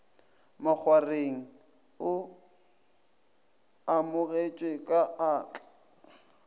makgwareng o amogetšwe ka atla